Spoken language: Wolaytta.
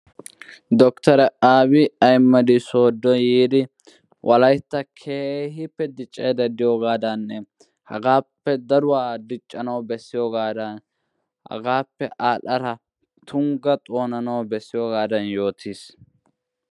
Dokiter Aabiyyi Ahaammedi sooddo yiidi Wolaytti keehi diccaydda de'iyogaadaaninne hagaappe daruwa diccanawu bessiyogaadan, hagaappe aadhdhada Tungga xoonanawu bessiyogaadan yootiis.